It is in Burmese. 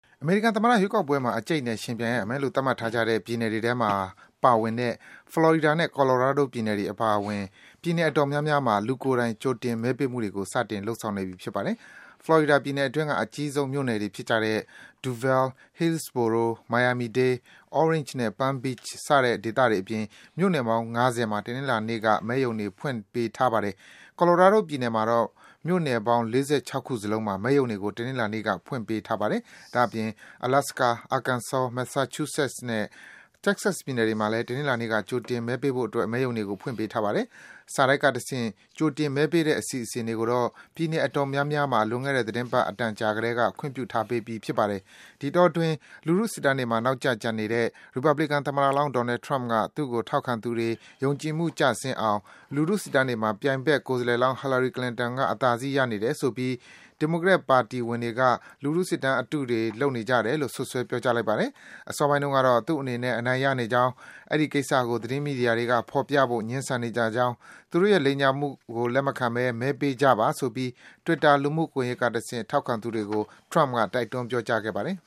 အမေရိကန်သမ္မတရွေးကောက်ပွဲမှာ အကြိတ်အနယ် ယှဉ်ပြိုင်ရမယ်လို့ သတ်မှတ်ထားကြတဲ့ ပြည်နယ်တွေထဲမှာ ပါဝင်တဲ့ Florida နဲ့ Colorado ပြည်နယ်တွေအပါအဝင် ပြည်နယ်အတော်များများမှာ လူကိုယ်တိုင် ကြိုတင်မဲပေးမှုတွေကို စတင် လုပ်ဆောင်နေပြီ ဖြစ်ပါတယ်။ Florida ပြည်နယ်အတွင်းက အကြီးဆုံးမြို့နယ်တွေဖြစ်ကြတဲ့ Duval ၊ Hillsborough ၊ Miami-Dade ၊ Orange နဲ့ Palm Beach စတဲ့ ဒေသတွေအပြင် မြို့နယ်ပေါင်း ၅၀ မှာ တနင်္လာနေ့က မဲရုံတွေ ဖွင့်ထားပေးပါမယ်။ Colorado ပြည်နယ်မှာတော့ မြို့နယ်ပေါင်း ၆၄ ခုစလုံးမှာ မဲရုံတွေကို တနင်္လာနေ့က ဖွင့်ထားပေးပါတယ်။ ဒါ့အပြင် Alaska ၊ Arkansas ၊ Masachusetts နဲ့ Texas ပြည်နယ်တွေမှာလည်း တနင်္လာနေ့က ကြိုတင်မဲပေးဖို့အတွက် မဲရုံတွေကို ဖွင့်ပေးထားပါတယ်။ စာတိုက်ကတဆင့် ကြိုတင် မဲပေးတဲ့အစီအစဉ်တွေကိုတော့ ပြည်နယ် အတော်များများမှာ လွန်ခဲ့တဲ့ သီတင်းပတ် အတန်ကြာကတည်းက ခွင့်ပြုထားပေးပြီး ဖြစ်ပါတယ်။ ဒီအတောအတွင်း လူထုစစ်တမ်းတွေမှာ နောက်ကျကျန်နေတဲ့ ရီပတ်ဘလီကန်သမ္မတလောင်း Donald Trump က သူ့ကို ထောက်ခံသူတွေ ယုံကြည်မှုကျဆင်းအောင် လူထု စစ်တမ်းတွေမှာ ပြိုင်ဖက် ကိုယ်စားလှယ်လောင်း Hillary Clinton က အသာစီး ရနေတယ်ဆိုပြီး ဒီမိုကရက်ပါတီဝင်တွေက လူထုစစ်တမ်း အတုတွေ လုပ်နေကြတယ်လို့ စွပ်စွဲ ပြောကြားလိုက်ပါတယ်။ အစောပိုင်းတုန်းကတော့ သူ့အနေနဲ့ အနိုင်ရနေကြောင်း၊ အဲဒီကိစ္စကို သတင်းမီဒီယာတွေက ဖော်ပြဖို့ ငြင်းဆန်နေကြကြောင်း၊ သူတို့ရဲ့ လိမ်ညာမှုကို လက်မခံပဲ မဲပေးကြပါဆိုပြီး Twitter လူမှုကွန်ယက်ကတဆင့် ထောက်ခံသူတွေကို တိုက်တွန်း ပြောကြားခဲ့ပါတယ်